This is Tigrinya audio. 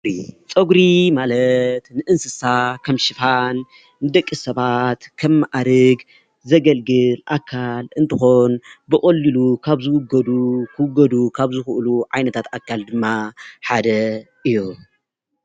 ፀጉሪ ማለት ንእንስሳ ከም ሽፋን፣ ንደቂ ሰባት ከም ማኣርግ ዘገልግል ኣካል እንትኾን ብቐሊሉ ካብ ዝውገዱ ክውገዱ ካብ ዝኽእሉ ዓይነታት ኣካል ድማ ሓደ እዩ፡፡